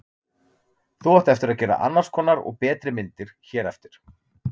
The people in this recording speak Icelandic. Þú átt eftir að gera annars konar og betri myndir hér eftir.